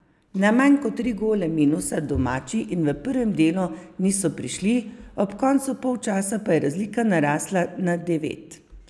Na manj kot tri gole minusa domači v prvem delu niso prišli, ob koncu polčasa pa je razlika narasla na devet.